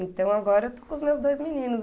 Então agora eu estou com os meus dois meninos.